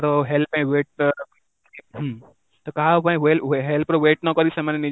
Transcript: କାହାର help ପାଇଁ wait ତ କାହା ପାଇଁ help ର wait ନ କରି ସେମାନେ